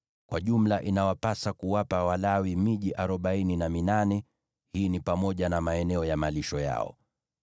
Kwa jumla inawapasa kuwapa Walawi miji arobaini na minane, pamoja na maeneo ya malisho yao.